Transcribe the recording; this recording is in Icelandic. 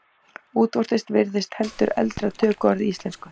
Útvortis virðist heldur eldra tökuorð í íslensku.